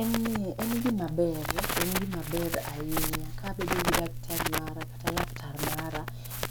En ni, en gima ber, en gima ber ahinya kabedo gi daktari mara kata laktar mara